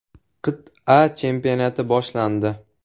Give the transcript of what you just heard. Qit’a chempionati boshlandi.